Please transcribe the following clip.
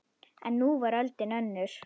En nú var öldin önnur.